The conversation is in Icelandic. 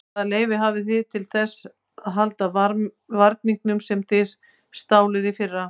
Hvaða leyfi hafið þið til þess að halda varningnum sem þið stáluð í fyrra?